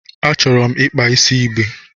Achọrọ m ịkpa isi igbe.